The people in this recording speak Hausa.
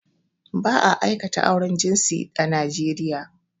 Ba a aikata auren jinsi a Naijeria